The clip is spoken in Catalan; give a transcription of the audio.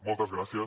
moltes gràcies